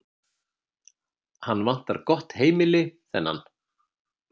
Hann vantar gott heimili, þennan.